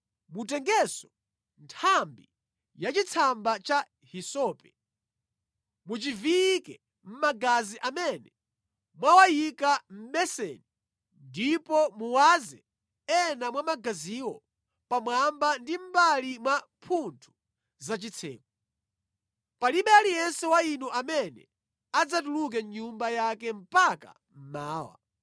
Mutengenso nthambi ya chitsamba cha hisope, muchiviyike mʼmagazi amene mwawayika mʼbeseni ndipo muwaze ena mwa magaziwo pamwamba ndi mʼmbali mwa mphuthu za chitseko. Palibe aliyense wa inu amene adzatuluke mʼnyumba yake mpaka mmawa.